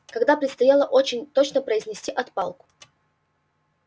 когда предстояло очень точно произвести отпалку